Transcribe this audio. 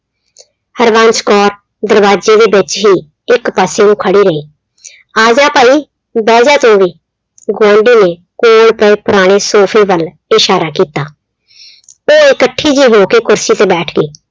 ਹਰਬੰਸ ਕੌਰ ਦਰਵਾਜ਼ੇ ਦੇ ਵਿੱਚ ਹੀ ਇੱਕ ਪਾਸੇ ਨੂੰ ਖੜੀ ਰਹੀ। ਆਜਾ ਭਈ ਬੈਜਾ ਤੂੰ ਵੀ, ਗੁਆਂਢੀ ਨੇ ਕੋਲ ਪਏ ਪੁਰਾਣੇ sofa ਵੱਲ ਇਸ਼ਾਰਾ ਕੀਤਾ, ਉਹ ਇਕੱਠੀ ਜੀ ਹੋ ਕੇ ਕੁਰਸੀ ਤੇ ਬੈਠ ਗਈ।